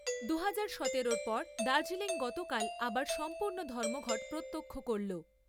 দু হাজার সতেরোর পর দার্জিলিং গতকাল আবার সম্পূর্ণ ধর্মঘট প্রত্যক্ষ করলো।